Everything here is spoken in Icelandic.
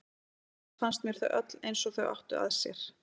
Annars finnst mér þau öll eins og þau áttu að sér.